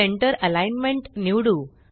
centre alignment निवडू